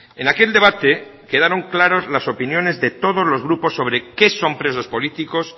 en aquel debate quedaron claras las opiniones de todos los grupos sobre qué son presos políticos